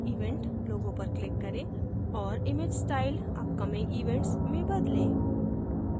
event logo पर click करें और image style upcoming events में बदलें